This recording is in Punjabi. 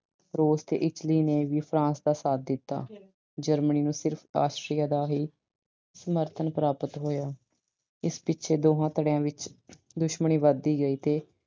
Russia ਤੇ Italy ਨੇੇ ਵੀ France ਦਾ ਸਾਥ ਦਿੱਤਾ। Germany ਨੂੰ ਸਿਰਫ਼ Austria ਦਾ ਹੀ ਸਮਰਥਨ ਪ੍ਰਾਪਤ ਹੋਇਆ। ਇਸ ਪਿੱਛੇ ਦੋਹਾਂ ਧੜਿਆਂ ਵਿੱਚ ਦੁਸ਼ਮਣੀ ਵਧਦੀ ਗਈ ਤੇ